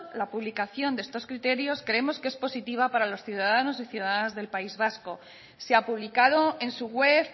la publicación de estos criterios creemos que es positiva para los ciudadanos y ciudadanas del país vasco se ha publicado en su web